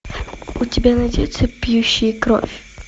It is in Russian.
у тебя найдется пьющие кровь